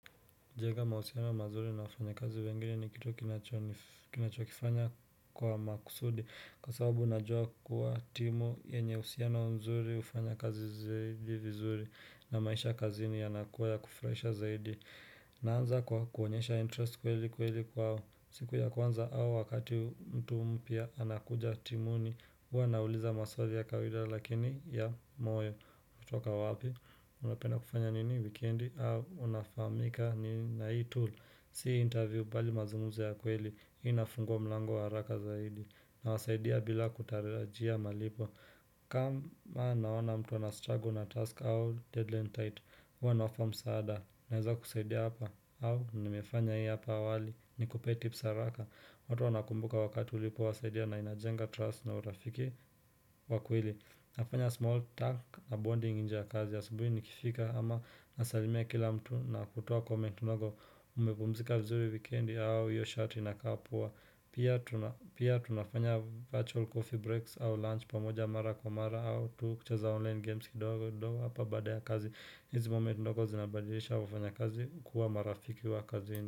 Kujenga mahusiano mazuri na wafanyakazi wengine ni kitu ninachokifanya kwa makusudi Kwa sababu najua kuwa timu yenye uhusiano mzuri hufanya kazi zaidi vizuri na maisha kazini yanakuwa ya kufuraisha zaidi Naanza kwa kuonyesha interest kweli kweli kwao siku ya kwanza au wakati mtu mpya anakuja timuni huwa nauliza maswali ya kawida lakini ya moyo umetoka wapi, unapenda kufanya nini wikendi, au unafahamika na hii tool, sio interview bali mazungumzo ya kweli, hii inafungua mlango haraka zaidi Nawasaidia bila kutarajia malipo kama naona mtu ana struggle na task au deadline tight huwa nawapa msaada, naeza kusaidia hapa au, nimefanya hii hapa awali, nikupe tips haraka. Watu wanakumbuka wakati ulipowasaidia na inajenga trust na urafiki kwa kweli nafanya small talk na bonding nje ya kazi asubuhi nikifika ama nasalimia kila mtu na kutuo comment ndogo umepumzika vizuri wikendi au hiyo shati inakaa poa Pia tunafanya virtual coffee breaks au lunch pamoja mara kwa mara au tu kucheza online games kidogo hapa baada ya kazi. Hizi moment ndogo zinabadilisha wafanyakazi kuwa marafiki wa kazini.